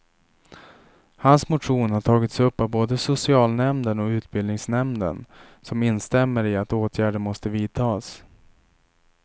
Hans motion har tagits upp av både socialnämmden och utbildningsnämnden som instämmer i att åtgärder måste vidtas.